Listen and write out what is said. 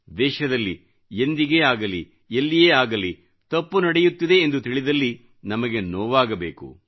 ದೇಶದಲ್ಲಿ ಎಂದಿಗೇ ಆಗಲಿ ಎಲ್ಲಿಯೇ ಆಗಲಿ ತಪ್ಪು ನಡೆಯುತ್ತಿದೆ ಎಂದು ತಿಳಿದಲ್ಲಿ ನಮಗೆ ನೋವಾಗಬೇಕು